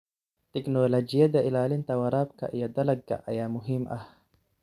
Tignoolajiyada ilaalinta waraabka iyo dalagga ayaa muhiim ah.